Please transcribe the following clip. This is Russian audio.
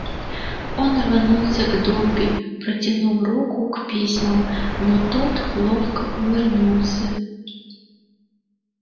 он рванулся к добби протянув руку к письмам но тот ловко увернулся